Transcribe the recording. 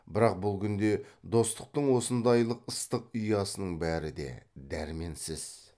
бірақ бұл күнде достықтың осындайлық ыстық ұясының бәрі де дәрменсіз